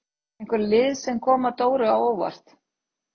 Eru einhver lið sem eru að koma Dóru á óvart?